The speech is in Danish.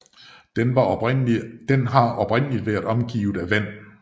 Den har oprindeligt været omgivet af vand